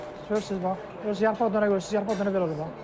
Görürsüz, bax, özü yarpaq, görürsüz, yarpaq dənə belə olur, bax.